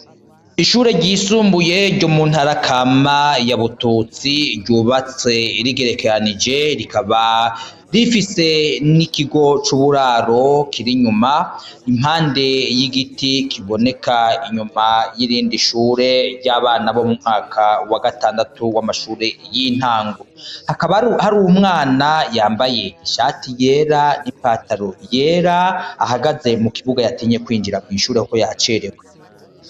Ishure ryisumbuye ryo mu ntarakama ya bututsi ryubatse rigerekanije rikaba rifise n'ikigo c'uburaro kiri inyuma impande y'igiti kiboneka inyuma y'irindi ishure ry'abana bo mu mwaka wa gatandatu y'amashure y'intama ngo hakaba hari u mwana yambaye ishati yera ipataro yera ahagaze mu kibuga yatinye kwinjira mw'inshure ko yacerewe.